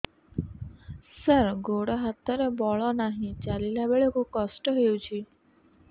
ସାର ଗୋଡୋ ହାତରେ ବଳ ନାହିଁ ଚାଲିଲା ବେଳକୁ କଷ୍ଟ ହେଉଛି